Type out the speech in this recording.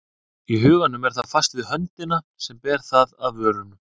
Í huganum er það fast við höndina sem ber það að vörunum.